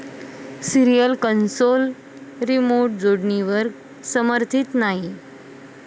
cereal console remote जोडणीवर समर्थीत नाही